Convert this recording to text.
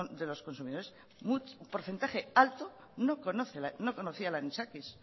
de los consumidores un porcentaje alto no conocía el anisakis